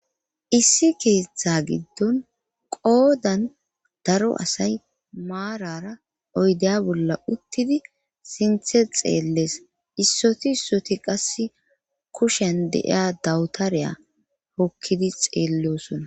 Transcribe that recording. Issi keeththa giddon qoodan daro asay maarara oydeya bolla uttidi sinthe xeellees issoti issoti qas kushen deiya dawutareya hokkidi xeellosona.